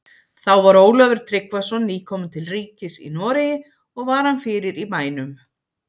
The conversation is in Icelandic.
Þá var Ólafur Tryggvason nýkominn til ríkis í Noregi, og var hann fyrir í bænum.